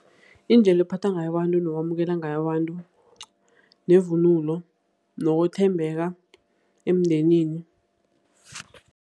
Indlela ephatha ngayo abantu nokwamukela ngabantu nevunulo nokuthembeka emndenini.